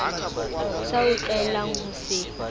sa o tlwaelang ho se